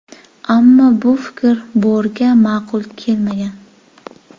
Ammo bu fikr Borga ma’qul kelmagan.